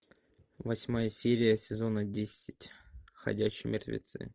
восьмая серия сезона десять ходячие мертвецы